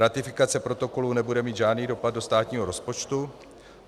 Ratifikace protokolu nebude mít žádný dopad do státního rozpočtu.